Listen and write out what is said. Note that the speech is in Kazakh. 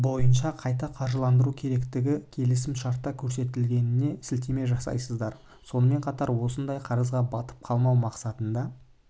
бойынша қайта қаржыландыру керектігі келісім-шартта көрсетілгеніне сілтеме жасайсыздар сонымен қатар осындаай қарызға батып қалмау мақсатында